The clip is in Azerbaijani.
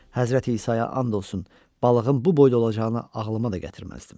Həzrəti İsaya and olsun, balığın bu boyda olacağını ağlıma da gətirməzdim.